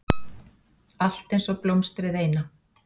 Allt einsog blómstrið eina.